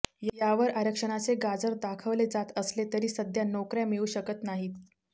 यावर आरक्षणाचे गाजर दाखवले जात असले तरी सध्या नोकऱया मिळू शकत नाहीत